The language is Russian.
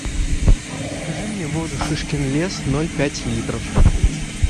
закажи мне воду шишкин лес ноль пять литров